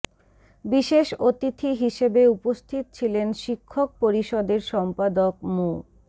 বিশেষ অতিথি হিসেবে উপস্থিত ছিলেন শিক্ষক পরিষদের সম্পাদক মো